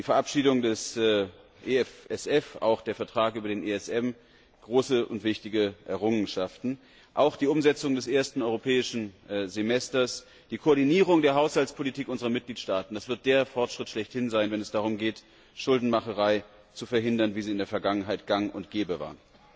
Die Verabschiedung des EFSF, auch der ESM Vertrag große und wichtige Errungenschaften! Auch die Umsetzung des ersten europäischen Semesters, die Koordinierung der Haushaltspolitik unserer Mitgliedstaaten, das wird der Fortschritt schlechthin sein, wenn es darum geht, Schuldenmacherei zu verhindern, wie sie in der Vergangenheit gang und gäbe war.